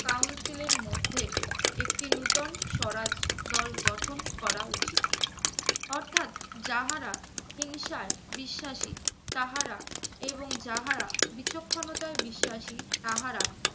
council এর মধ্যে একটি নুতন স্বরাজ দল গঠন করা উচিত। অর্থাৎ যাহারা হিংসায় বিশ্বাসী তাহারা, এবং যাহারা বিচক্ষণতায় বিশ্বাসী তাহারা